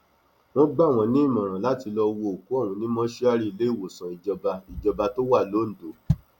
wọn gbà wọn nímọràn àti lọọ wo òkú ọhún ní mọṣúárì iléewòsàn ìjọba ìjọba tó wà londo